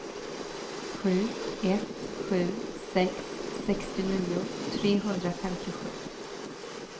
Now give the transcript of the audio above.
sju ett sju sex sextionio trehundrafemtiosju